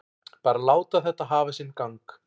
Bara láta þetta hafa sinn gang.